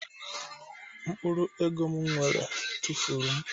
Mkpụrụ ego m nwere tụfuru m